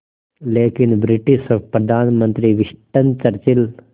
लेकिन ब्रिटिश प्रधानमंत्री Winston Churchill